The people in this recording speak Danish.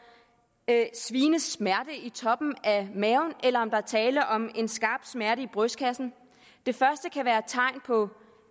sviende smerte i toppen af maven eller om der er tale om en skarp smerte i brystkassen det første kan være tegn på